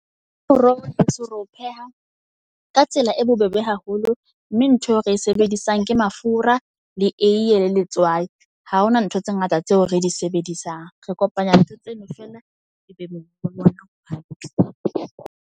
Moroho heso re o pheha ka tsela e bobebe haholo mme ntho eo re e sebedisang ke mafura le eiye le letswai. Ha hona ntho tse ngata tseo re di sebedisang. Re kopanya ntho tseno fela e be .